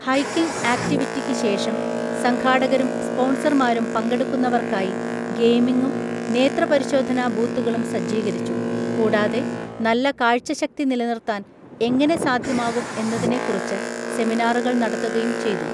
Hiking ആക്‌റ്റിവിറ്റിക്ക് ശേഷം, സംഘാടകരും സ്പോൺസർമാരും പങ്കെടുക്കുന്നവർക്കായി ഗെയിമിംഗും നേത്രപരിശോധനാ ബൂത്തുകളും സജ്ജീകരിച്ചു, കൂടാതെ നല്ല കാഴ്ചശക്തി നിലനിർത്താൻ എങ്ങനെ സാധ്യമാകും എന്നതിനെക്കുറിച്ച്‌ സെമിനാറുകൾ നടത്തുകയും ചെയ്തു.